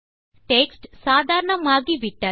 text சாதாரணமாகி விட்டது